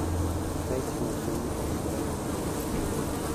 "Ka itimo pim e oreya ma kamano,